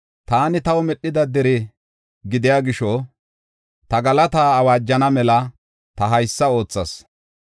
Taani taw medhida dere gidiya gisho, ta galataa awaajana mala ta haysa oothas.